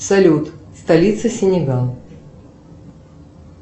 салют столица синегал